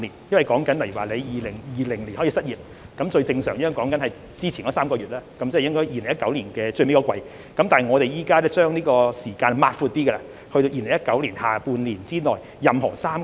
例如申請人在2020年失業，一般是提交之前3個月的收入證明，即是2019年最後一季，但現把時間擴闊至2019年下半年之內的任何3個月。